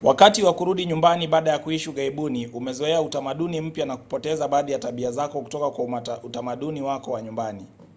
wakati wa kurudi nyumbani baada ya kuishi ughaibuni umezoea utamaduni mpya na kupoteza baadhi ya tabia zako kutoka kwa utamaduni wako wa nyumbani